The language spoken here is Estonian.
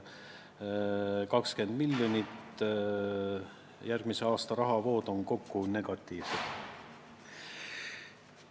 Vastus: 20 miljonit, järgmise aasta rahavood on kokku negatiivsed.